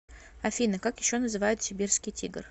афина как еще называют сибирский тигр